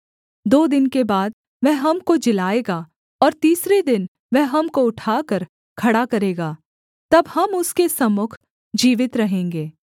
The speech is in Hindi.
दो दिन के बाद वह हमको जिलाएगा और तीसरे दिन वह हमको उठाकर खड़ा करेगा तब हम उसके सम्मुख जीवित रहेंगे